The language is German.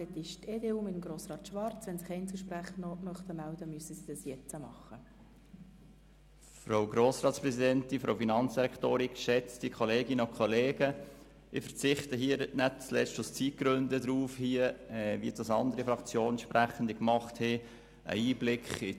Nicht zuletzt aus Zeitgründen verzichte ich darauf, hier einen Einblick in das Seelenleben unserer Fraktion zu geben, wie es andere Fraktionssprechende getan haben.